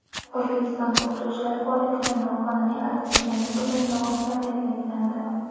O‘zbekistonda o‘qituvchilar faoliyatiga noqonuniy aralashganlik uchun javobgarlik belgilandi.